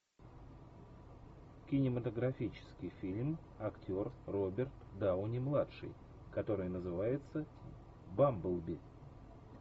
кинематографический фильм актер роберт дауни младший который называется бамблби